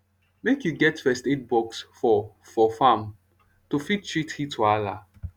make u get first aid box for for farm to fit treat heat wahala